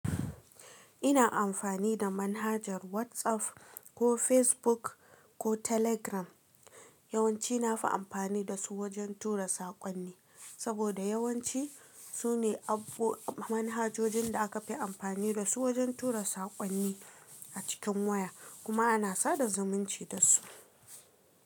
Ina amfani da manhajar WhatsApp ko Facebook ko Telegram. Yawanci na fi amfani da su wajen tura saƙonni, saboda yawanci su ne abbo manhajojin da aka fi amfani da su wajen tura saƙonni a cikin waya kuma ana sada zumunci da su.